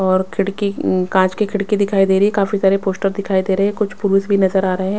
और खिड़की कांच की खिड़की दिखाई दे रही है काफी सारे पोस्टर दिखाई दे रहे हैं कुछ पुरुष भी नजर आ रहे हैं।